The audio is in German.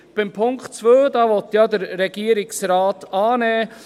Den Punkt 2 will der Regierungsrat ja annehmen.